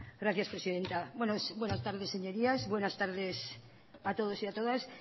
gracias presidenta buenas tardes señorías buenas tardes a todos y a todas